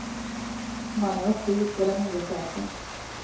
Mannen var sur på den nye chefen.